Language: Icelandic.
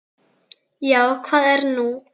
Já, hvað er nú?